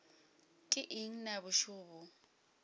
ke eng na bošego bjo